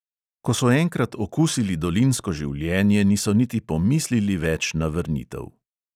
Ko so enkrat okusili dolinsko življenje, niso niti pomislili več na vrnitev.